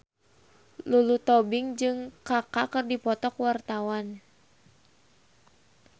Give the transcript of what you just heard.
Lulu Tobing jeung Kaka keur dipoto ku wartawan